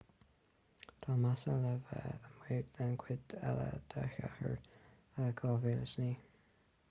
tá massa le bheith amuigh den chuid eile de shéasúr 2009